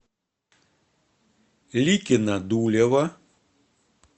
ликино дулево